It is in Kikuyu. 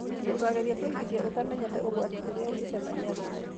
Ndũkagerie kũigithia ũtamenyete ũgwati ũrĩa ũngĩcemania naĩ.